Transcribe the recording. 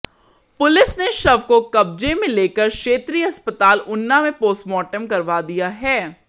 police ने शव को कब्जे में लेकर क्षेत्रीय अस्पताल ऊना में पोस्टमार्टम करवा दिया है